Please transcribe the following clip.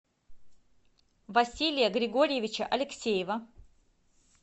василия григорьевича алексеева